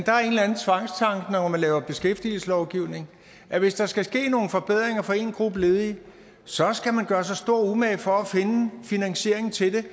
man laver beskæftigelseslovgivning at hvis der skal ske nogle forbedringer for én gruppe ledige så skal man gøre sig stor umage for at finde finansieringen til det